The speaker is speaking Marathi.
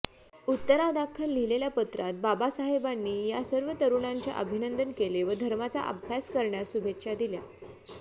उत्तरादाखल लिहिलेल्या पत्रांत बाबासाहेबानी या सर्व तरुणांचे अभिनंदन केले व धर्माचा अभ्यास करण्यास शुभेच्छा दिल्या